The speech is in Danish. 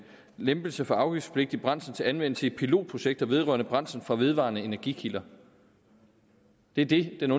lempelse for afgiftspligtig brændsel til anvendelse i pilotprojekter vedrørende brændsel fra vedvarende energikilder det er det den